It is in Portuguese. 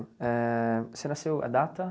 Éh você nasceu, a data?